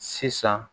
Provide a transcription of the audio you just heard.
Sisan